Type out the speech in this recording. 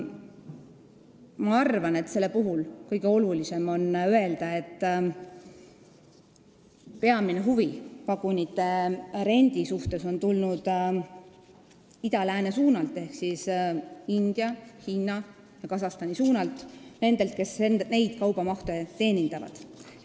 Ma arvan, et selle puhul on kõige olulisem öelda, et peamine huvi vagunite rendi vastu on tulnud ida-lääne suunalt ehk India, Hiina ja Kasahstani suunalt, nendelt, kes neid kaubavooge teenindavad.